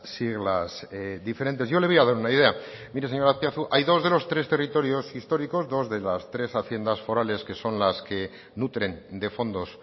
siglas diferentes yo le voy a dar una idea mire señor azpiazu hay dos de los tres territorios históricos dos de las tres haciendas forales que son las que nutren de fondos